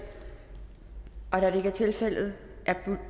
da det ikke er tilfældet er